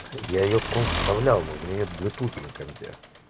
я её в комп вставлял но у меня нет блютус на компе